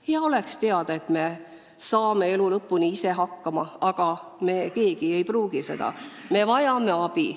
Hea oleks teada, et me saame elu lõpuni ise hakkama, aga nii ei pruugi minna, me võime vajada abi.